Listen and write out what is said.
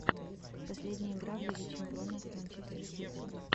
последняя игра в лиге чемпионов манчестер сити